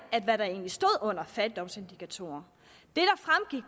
hvad der egentlig stod under fattigdomsindikatorer